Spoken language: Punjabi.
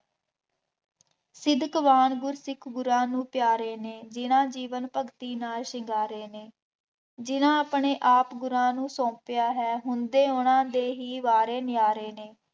ਸਿੱਦਕਵਾਨ ਗੁਰਸਿੱਖ ਗੁਰਾਂ ਨੂੰ ਪਿਆਰੇ ਨੇ, ਜਿੰਨ੍ਹਾ ਜੀਵਨ ਭਗਤੀ ਨਾਲ ਸ਼ਿੰਗਾਰੇ ਨੇ, ਜਿੰਂਨ੍ਹਾ ਆਪਣੇ ਆਪ ਗੁਰਾਂ ਨੂੰ ਸੌਂਪਿਆ ਹੈ, ਹੁੰਦੇ ਉਹਨਾ ਦੇ ਹੀ ਵਾਰੇ ਨਿਆਂਰੇ ਨੇ